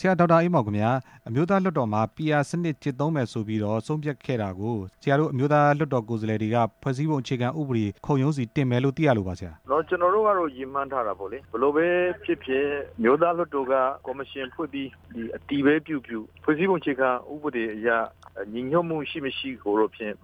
ဆရာ ဒေါက်တာအေးမောင် ခင်ဗျာ အမျိုးသားလွှတ်တော်မှာ PR စနစ်ကျင့်သုံးမယ်ဆိုပြီးတော့ ဆုံးဖြတ်ခဲ့တာကို ဆရာတို့အမျိုးသားလွှတ်တော် ကိုယ်စားလှယ်တွေက ဖွဲ့စည်းပုံအခြေခံဥပဒေ ခုံရုံးဆီတင်မယ်လို့ သိရလို့ပါဆရာ ကျနော်တို့ကတော့ ရည်မှန်းထားတာပဲလေ ဘယ်လိုပဲဖြစ်ဖြစ် အမျိုးသားလွှတ်တော်က ကော်မရှင်ဖွဲ့ပြီး အတည်ပဲပြုပြု ဖွဲ့စည်းပုံ အခြေခံဥပဒေအရ ညီညွှတ်မှုရှိ မရှိကို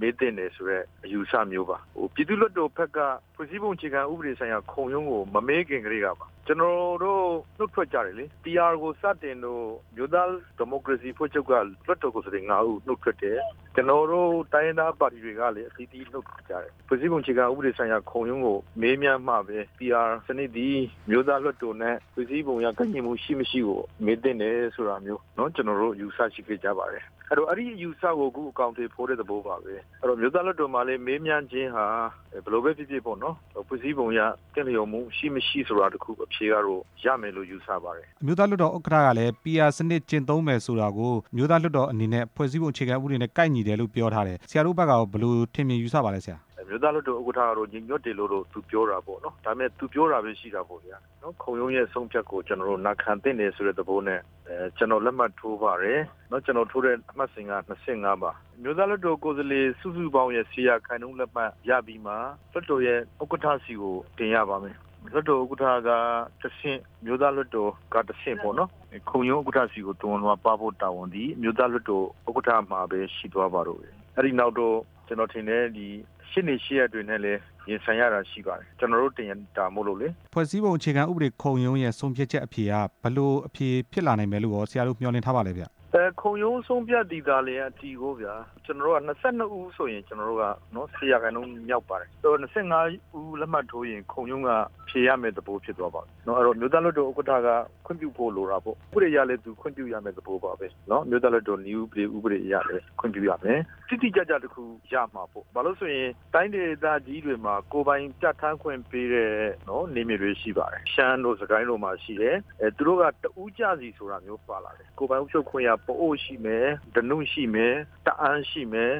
မေးသင့်တယ်ဆိုတဲ့ အယူအဆမျိုးပါ၊ ပြည်သူ့လွှတ်တော်ဘက်က ဖွဲ့စည်းပုံအခြေခံ ဥပဒေဆိုင်ရာ ခုံရုံးကို မမေးခင် ကတည်းက ကျနော်တို့နှုတ်ထွက်ကြတယ်၊ PR ကိုစတင်လို့ အမျိုးသား ဒီမိုကရေစီ အဖွဲ့ချုပ်က လွှတ်တော်ကိုယ်စားလှယ် ၅ ဦးနှုတ်ထွက်တယ်၊ ကျနော်တို့ တိုင်းရင်းသား ပါတီတွေကလဲ အသီးသီးနှုတ်ထွက်ကြတယ်၊ ဖွဲ့စည်းပုံ အခြေခံ ဥပဒေဆိုင်ရာ ခုံရုံးကို မေးမြန်းမှပဲ PR စနစ်သည် အမျိုးသားလွှတ်တာ်နဲ့ ဖွဲ့စည်းပုံအရ ကိုက်ညီမှုရှိ မရှိကို မေးသင့်တယ်ဆိုတာမျိုး ကျနော်တို့အယူ အစရှိခဲ့ကြပါတယ်၊ အဲ့အယူအစကို အခုအကောင်အထည်ဖော်တဲ့ သဘောပါပဲ၊ အမျိုးသားလွှတ်တော်မှာလဲ မေးမြန်းခြင်းဟာ ဘယ်လိုပဲဖြစ်ဖြစ်ပေါ့နော်၊ ဖွဲ့စည်းပုံအရ သင့်တော်မှုရှိ မရှိဆိုတာတစ်ခု အဖြေကတော့ ရမယ်လို့ယူဆပါတယ်၊ အမျိုးသားလွှတ်တော် ဥက္ကဌကလဲ PR စနစ်ကျင့်သုံးမယ် ဆိုတာကို အမျိုးသားလွှတ်တော်အနေနဲ့ ဖွဲ့စည်းပုံအခြေခံ ဥပဒေနဲ့ကိုက်ညီတယ်လို့ ပြောထားတယ်၊ ဆရာတို့ဖက်ကရော ဘယ်လိုထင်မြင်ယူဆပါလဲဆရာ၊ အမျိုးသားလွှတ်တော် ဥက္ကဌကတော့ ညီညွတ်တယ်လို့တော့ ပြောတာပေါ့၊ ဒါပေမယ့် သူပြောတာပဲရှိတာပေါ့ဗျာ၊ ခုံရုံးရဲ့ အဆုံးအဖြတ်ကို နာခံသင့်တယ် ဆိုတဲ့သဘောနဲ့ ကျနော်လက်မှတ်ထိုးပါတယ်၊ ကျနော်ထိုးတဲ့ အမှတ်စဉ်က ၂၅ ပါ၊ အမျိုးသားလွှတ်တော်ကိုယ်စားလှယ် စုစုပေါင်းရဲ့ ၁၀ ရာခိုင်နှုန်း လက်မှတ်ရပြီးမှ လွှတ်တော်ရဲ့ ဥက္ကဌ ဆီကိုတင်ရပါတယ်၊လွှတ်တော် ဥက္ကဌ ကတဆင့် ခုံရုံး ဥက္ကဌဆီကို သဝဏ်လွှာပါးဖို့ တာဝန်သည်အမျိုးသားလွှတ်တော် ဥက္ကဌမှာပဲ ရှိသွားပါတော့တယ်၊ အဲ့ဒီနောက်တော့ ကျနော်ထင်တယ် ရှေ့နေရှေ့ရပ် တွေနဲ့လဲ ရင်ဆိုင်ရတာရှိပါတယ်၊ ကျနော်တို့ တင်တာမို့လို့လေ၊ ဖွဲ့စည်းပုံ အခြေခံဥပဒေ ခုံရုံးရဲ့ ဆုံးဖြတ်ချက် အဖြေက ဘယ်လိုအဖြေ ဖြစ်လာမယ်ဆိုတာရော ဆရာတို့မျှော်လင့်ထားလဲဗျ ခုံရုံးဆုံးဖြတ်သည်သာလျှင် အဖြေပေါ့ဗျာ၊ ကျနော်တို့က ၂၂ ဦးဆိုရင် ၁၀ ရာခိုင်နှုန်းမြောက်ပါတယ်၊ ၂၅ ဦးလက်မှတ်ထိုးရင် ခုံရုံးက ဖြေရမယ့် သဘောဖြစ်သွားပါပြီ၊ အဲ့တော့ အမျိုးသားလွှတ်တော်ဥက္ကဌ ကခွင့်ပြုဖို့လိုတာပေါ့၊ ဥပဒေအရလဲ သူခွင့်ပြုရမယ့် သဘောပါပဲနော်၊ အမျိုးသားလွှတ်တော် နည်းဥပဒေ အရလဲ ခွင့်ပြုရမယ်၊ တိတိကျကျ တစ်ခု ရမှပေါ့၊ ဘာလို့လဲဆိုရင် တိုင်းဒေသကြီးတွေမှာ ကိုယ်ပိုင်ပြဌာန်းခွင့်ပေးတဲ့ နယ်မြေတွေရှိပါတယ်၊ ရှမ်းတို့ စစ်ကိုင်းတို့မှာ ရှိတယ်၊ သူတို့က တစ်ဦးကျစီဆိုတာမျိုး ပါလာတယ်၊ ကိုယ်ပိုင်အုပ်ချုပ်ခွင့်ရ ပအို့ရှိမယ်၊ ဓနုရှိမယ်၊ တအာင်းရှိမယ်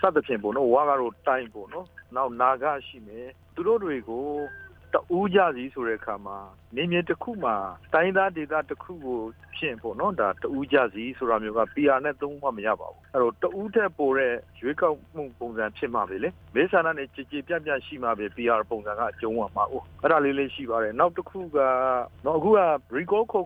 စသဖြင့်ပေါ့နော်၊ ဝ ကတော့တိုင်းပေါ့နော်၊ နောက်နာဂရှိမယ်၊ သူတို့တွေကို တစ်ဦးကျစီဆိုတဲ့ အခါမှာ နယ်မြေတစ်ခုမှာ တိုင်းရင်းသားဒေသတစ်ခုကို တစ်ဦးကျစီဆိုတာမျိုးက PR နဲ့လုံးဝမရပါဘူး၊ အဲ့တော့ တစ်ဦးထက်ပိုတဲ့ ရွေးကောက်မှုပုံစံဖြစ်မှပဲ၊ မဲဆန္ဒလဲ ကျယ်ကျယ်ပြန့်ပြန့် ရှိမှပဲ PR ပုံစံကအကြုံးဝင် မှာကိုး၊ အဲ့ဒါလေးလဲရှိပါတယ်၊နောက်တစ်ခုက လူပုဂ္ဂိုလ်ကို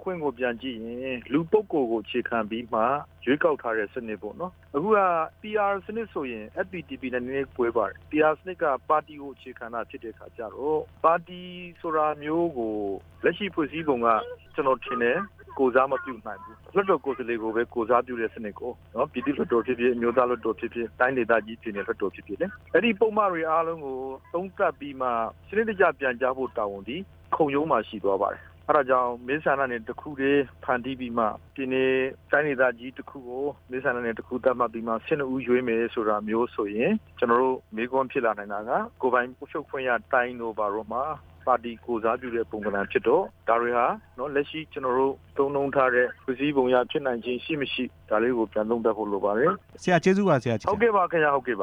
အခြေခံပြီးမှ ရွေးကောက်ထားတဲ့ စနစ်ပေါ့နော်၊ အခုက PR စနစ်ဆိုရင် FPTP နဲ့ နဲနဲလေး ကွဲသွားတယ်၊ PR စနစ်က ပါတီကို အခြေခံတာဖြစ်တဲ့ခါကျတော့ ပါတီဆိုတာမျိုးကို လက်ရှိဖွဲ့စည်းပုံက ကျနော်ထင်တယ် ကိုယ်စားမပြုနိုင်ဘူး၊ လွှတ်တော် ကိုယ်စားလှယ်ကိုပဲ အခြခံတာကိုးနော်၊ ပြည့်သူ့လွှတ်တော်ဖြစ်ဖြစ် အမျိုးသားလွှတ်တော်ဖြစ်ဖြစ်၊ တိုင်းဒေသကြီး ပြည်နယ်လွှတ်တော်ဖြစ်ဖြစ်လေ၊ အဲ့ဒီ ပုဒ်မတွေအားလုံးကို သုံးသပ်ပြီးတော့မှ စနစ်တကျပြန်ကြားဖို့ တာဝန်သည် ခုံရုံးမှာရှိသွားပါတယ်၊ အဲ့ဒါကြောင့် မဲဆန္ဒနယ် တစ်ခုတည်းဖန်တီးပြီးမှ ပြည်နယ် တိုင်းဒေသကြီးတစ်ခုကို မဲဆန္ဒနယ် သတ်မှတ်ပြီးမှ ၁၂ ဦးရွေးမယ်ဆိုတာမျိုးဆိုရင် ကျနော်တို့ မေးခွန်းဖြစ်လာနိုင်တာက ကိုယ်ပိုင်အုပ်ချုပ်ခွင့်ရ တိုင်းတို့ဘာတို့ မှာ ပါတီကိုယ်စားပြုတဲ့ ပုံသဏ္ဍန်ဖြစ်တော့ ဒါတွေဟာ လက်ရှိကျနော်တို့ သုံးနှုန်းထားတဲ့ ဖွဲ့စည်းပုံရဖြစ်နိုင်ခြေ ရှိ မရှိ၊ ဒါလေးကိုပြန်သုံးသပ်ဖို့ လိုပါတယ်၊ ဆရာကျေးဇူးပါဆရာ၊ ကျေးဇူးပါ ဟုတ်ကဲ့ပါဗျာ၊ ဟုတ်ကဲ့ပ